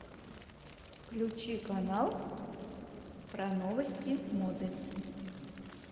включи канал про новости моды